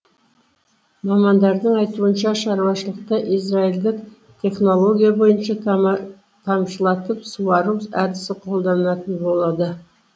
мамандардың айтуынша шаруашылықта израильдік технология бойынша тамшылатып суару әдісі қолданылатын болады